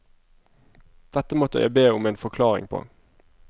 Dette måtte jeg be om en forklaring på.